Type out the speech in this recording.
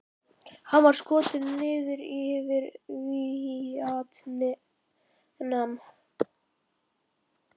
Hann var skotinn niður yfir Víetnam.